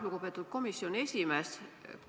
Lugupeetud komisjoni esimees!